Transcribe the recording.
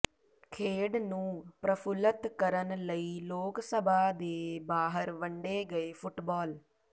ਖੇਡ ਨੂੰ ਪ੍ਰਫੁਲਤ ਕਰਨ ਲਈ ਲੋਕਸਭਾ ਦੇ ਬਾਹਰ ਵੰਡੇ ਗਏ ਫੁੱਟਬਾਲ